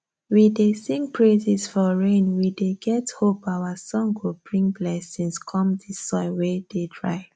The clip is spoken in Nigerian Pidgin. we dey sing praises for rainwe dey get hope our song go bring blessings com the soil wey dey dry